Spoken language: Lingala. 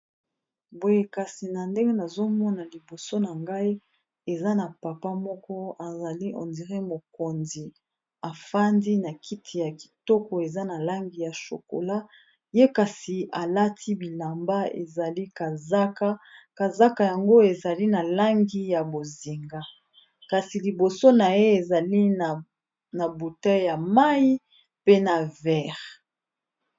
Boye kasi na ndenge nazomona liboso na ngai eza na papa moko azali on diré mokonzi efandi na kiti ya kitoko eza na langi ya shokola ye kasi alati bilamba ezali kazaka, kazaka yango ezali na langi ya bozinga kasi liboso na ye ezali na buteille ya mai pe na verre.